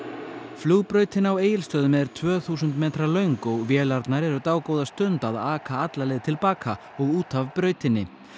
flugbrautin á Egilsstöðum er tvö þúsund metra löng og vélarnar eru dágóða stund að aka alla leið til baka og út af brautinni